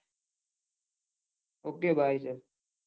okay bye